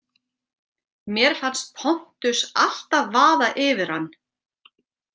Mér fannst Pontus alltaf vaða yfir hann.